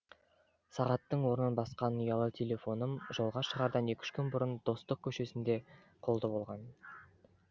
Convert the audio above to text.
сағаттың орнын басқан ұялы телефоным жолға шығардан екі үш күн бұрын достық көшесінде қолды болған